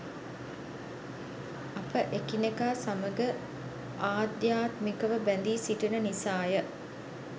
අප එකිනෙකා සමඟ ආධ්‍යාත්මිකව බැඳී සිටින නිසාය.